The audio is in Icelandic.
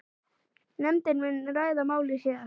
Nefndin muni ræða málið síðar.